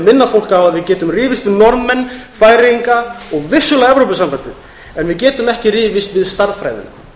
minna fólk á að við getum rifist um norðmenn færeyinga og vissulega evrópusambandið en við getum ekki rifist við stærðfræðina